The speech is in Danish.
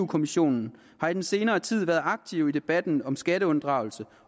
kommissionen har i den senere tid været aktive i debatten om skatteunddragelse